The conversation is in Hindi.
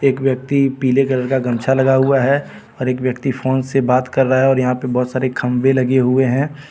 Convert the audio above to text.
एक व्यक्ति पीले कलर का गमछा लगा हुआ है और एक व्यक्ति फोन से बात कर रहा है और यहां पे बहुत सारे खंबे लगे हुए हैं.